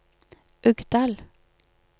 Uggdal